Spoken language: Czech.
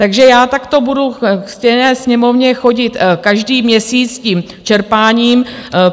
Takže já takto budu ke ctěné Sněmovně chodit každý měsíc s tím čerpáním.